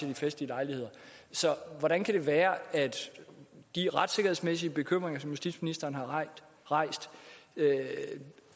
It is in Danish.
ved festlige lejligheder så hvordan kan det være at de retssikkerhedsmæssige bekymringer som justitsministeren har rejst